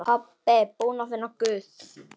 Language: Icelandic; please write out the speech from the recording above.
Pabbi búinn að finna Guð!